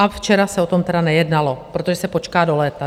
A včera se o tom tedy nejednalo, protože se počká do léta.